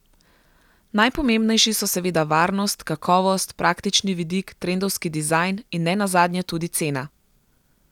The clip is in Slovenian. Najpomembnejši so seveda varnost, kakovost, praktični vidik, trendovski dizajn in ne nazadnje tudi cena.